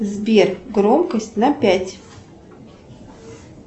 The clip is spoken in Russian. сбер громкость на пять